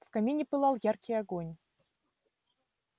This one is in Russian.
в камине пылал яркий огонь